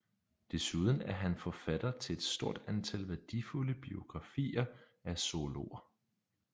Desuden er han forfatter til et stort antal værdifulde biografier af zoologer